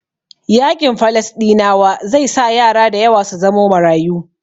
Yaƙin Falasɗinawa zai sa yara dayawa su zamo marayu